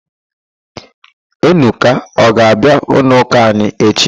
Enuka ọ ga-abịa n'ụlọụ́kà anyị echi?